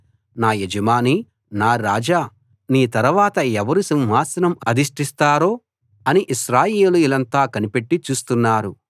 నా యజమానీ నా రాజా నీ తరవాత ఎవరు సింహాసనం అధిష్టిస్తారో అని ఇశ్రాయేలీయులంతా కనిపెట్టి చూస్తున్నారు